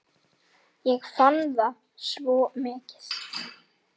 Ég fann það svo mikið.